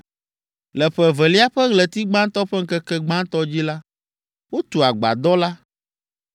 Le ƒe evelia ƒe ɣleti gbãtɔ ƒe ŋkeke gbãtɔ dzi la, wotu agbadɔ la.